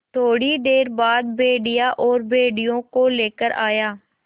थोड़ी देर बाद भेड़िया और भेड़ियों को लेकर आया